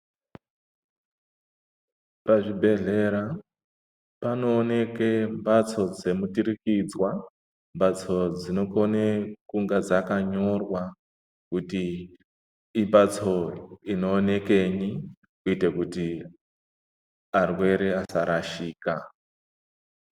Pazvibhehlera panooneka mbatso dzemuturikidzwa, mbatso dzinokone kunga dzakanyorwa kuti imbatso inoonekenyi kuitira kuti arwere asarashika.